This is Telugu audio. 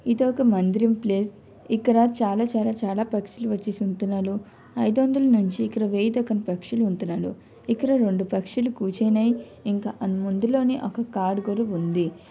ఇదొక మందిరం ప్లేస్ . ఇక్కడ చాలా చాలా చాలా పక్షులు వచ్చి సున్తున్నలు. ఐదు వందల నుంచి ఇక్కడ వెయ్యి దాకా పక్షులు ఉన్తున్నాలు. ఇక్కడ రెండు పక్షులు కూర్చున్నాయ్. ఇంకా అన్ ముందులోనే ఒక కార్ కూడా ఉంది.